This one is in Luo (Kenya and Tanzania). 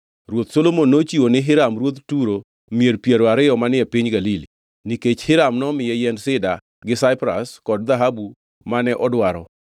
Ruoth Solomon nochiwo ni Hiram ruoth Turo mier piero ariyo manie piny Galili, nikech Hiram nomiye yiend sida gi saipras kod dhahabu mane odwaro.